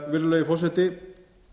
virðulegi forseti